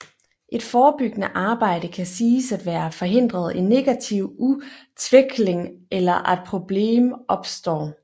Et forebyggende arbejde kan siges være at förhindra en negativ utveckling eller att problem uppstår